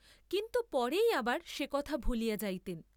কিন্তু পরেই আবার সে কথা ভুলিয়া যাইতেন।